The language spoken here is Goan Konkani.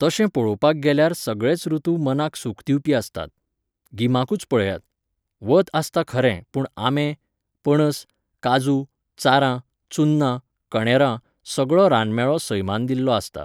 तशें पळोवपाक गेल्यार सगळेच रुतु मनाक सूख दिवपी आसतात. गिमाकूच पळयात. वत आसता खरें पूण आंबे, पणस, काजू, चारां, चुन्ना, कणेरां सगळो रानमेळो सैमान दिल्लो आसता.